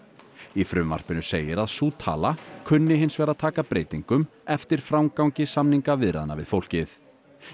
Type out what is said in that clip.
í frumvarpinu segir að sú tala kunni hins vegar að taka breytingum eftir framgangi samningaviðræðna við fólkið